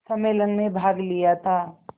सम्मेलन में भाग लिया था